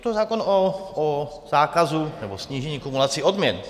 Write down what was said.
Je to zákon o zákazu nebo snížení kumulací odměn.